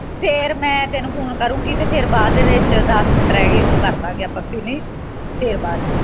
ਫੇਰ ਮੈਂ ਤੈਨੂੰ phone ਕਰੂੰਗੀ ਤੇ ਤੈਨੂੰ ਫੇਰ ਬਾਅਦ ਦੇ ਵਿੱਚ ਦਸ ਮਿੰਟ ਰਹਿ ਗਿਆ ਉਹ ਬਾਦ ਦੇ ਵਿੱਚ ਕਰ ਦਵਾਂਗੇ finish ਫੇਰ ਬਸ